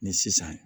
Ni sisan